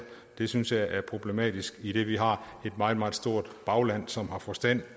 det synes jeg er problematisk idet vi har et meget meget stort bagland som har forstand